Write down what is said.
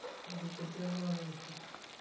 এইটো কেতিয়াৰ পৰা হৈ আছে?